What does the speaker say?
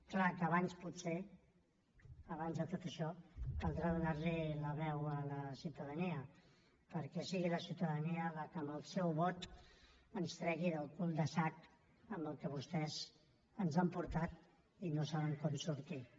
clar que abans potser abans de tot això caldrà donar li la veu a la ciutadania perquè sigui la ciutadania qui amb el seu vot ens tregui del cul de sac a què vostès ens han portat i del qual no saben com sortir ne